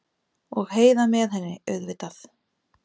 Og Heiða með henni, auðvitað.